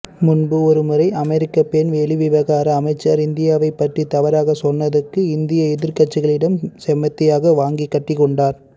முன்பு ஒருமுறை அமெரிக்கா பெண் வெளிவிவகார அமைச்சர் இந்தியாவை பற்றி தவறாக சொன்னதுக்கு இந்திய எதிர்கட்சிகளிடம் செமத்தியாக வாங்கிக்கட்டிக்கொண்டார்